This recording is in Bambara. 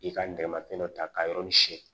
I ka nɛgɛmafɛn dɔ ta ka yɔrɔnin siɲɛ